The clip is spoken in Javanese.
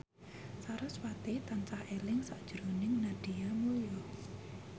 sarasvati tansah eling sakjroning Nadia Mulya